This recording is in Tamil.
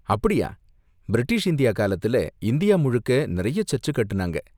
அப்படியா, பிரிட்டிஷ் இந்தியா காலத்துல இந்தியா முழுக்க நிறைய சர்ச்சு கட்டுனாங்க.